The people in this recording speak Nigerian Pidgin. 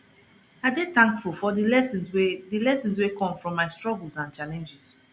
i dey thankful for the lessons wey the lessons wey come from my struggles and challenges